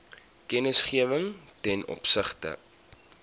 kennisgewing ten opsigte